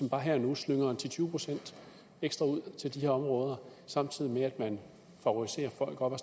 bare her og nu slynger ti til tyve procent ekstra ud til de her områder samtidig med at man favoriserer folk oppe